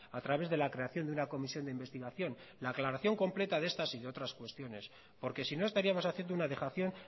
a través de la creación de una comisión de investigación la aclaración completa de estas y de otras cuestiones porque si no estaríamos haciendo una dejación